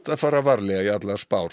að fara varlega í allar spár